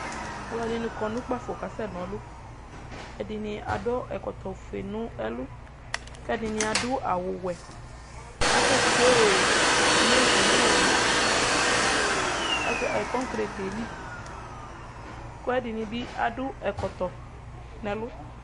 Alʋdini kɔ nʋ ʋkpafo kasɛ na ɔlʋ ɛdini adʋ ɛkɔtɔfue nʋ ɛlʋ kʋ ɛdini adʋ awʋwɛ asɛtsue simiti nʋ kokreti yɛli kʋ ɛdini bi adʋ ɛkɔtɔ nʋ ɛlʋ